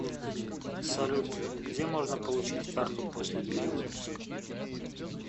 салют где можно получить карту после перевыпуска